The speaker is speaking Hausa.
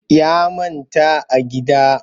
Ya manta a gida